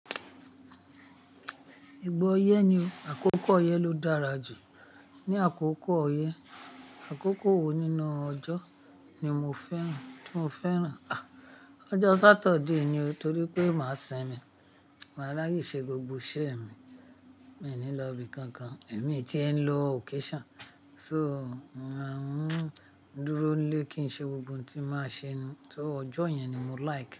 Ìgbà oyé ni àkókò oyé ló dára jù. Ni àkókò oyé, àkókò wo nínú ọjọ́ ni mo fẹ́ràn, tí mo fẹ́ràn? Ah! Ọjọ́ Saturday ni, torí pé máa simi, máa láyé ṣe gbogbo iṣẹ́ mi, mi ò ní lọ ibi kankan, èmi tí ẹ̀ ń lọ occasion, so máa ń dúró nílé kí n ṣe gbogbo ohun tí màá ṣe, so ọjọ́ yẹn ni mo like.